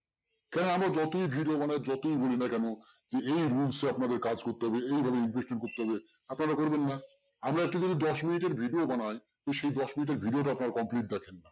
সে আমরা যতই video বানাই যতই বলি না কেন যে এই rules এ আপনাদের কাজ করতে হবে এই ভাবে investment করতে হবে আপনারা করবেন না। আমরা একটু যদি দশ মিনিটের video বানাই তো সেই দশ মিনিটের video টা আপনারা complete দেখেন